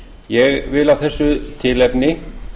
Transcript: ég vil af þessu tilefni